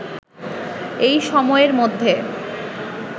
এ সময়ের মধ্যে